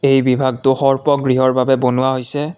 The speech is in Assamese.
এই বিভাগডোখৰ উপ গৃহৰ বাবে বনোৱা হৈছে।